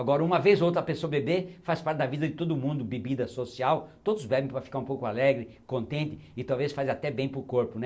Agora, uma vez ou outra a pessoa beber faz parte da vida de todo mundo, bebida social, todos bebem para ficar um pouco alegre, contente e talvez faz até bem para o corpo, né?